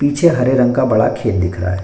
पिछे हरे रंग का बड़ा खेत दिख रहा है।